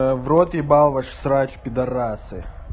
в рот ебал ваш срач пидарасы